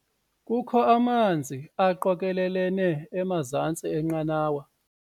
Kukho amanzi aqokelelene emazantsi enqanawa.